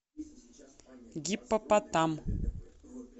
гиппопотам